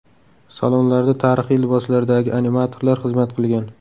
Salonlarda tarixiy liboslardagi animatorlar xizmat qilgan.